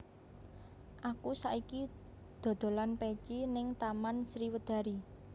Aku saiki dodolan peci ning Taman Sriwedari